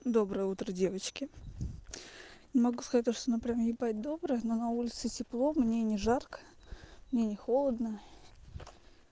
доброе утро девочки не могу сказать то что оно прямо ебать доброе но на улице тепло мне не жарко мне не холодно